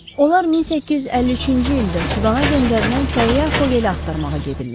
Onlar 1853-cü ildə Sudana göndərilən səyyah Vogeli axtarmağa gedirlər.